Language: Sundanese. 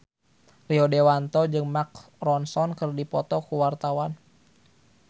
Rio Dewanto jeung Mark Ronson keur dipoto ku wartawan